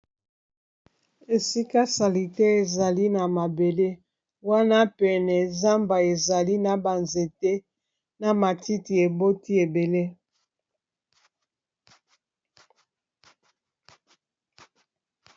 esika sali te ezali na mabele wana pene zamba ezali na banzete na matiti eboti ebele